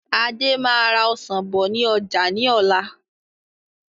Adé máa ra Ọsàn bọ̀ ni ọjà ni ọ̀la.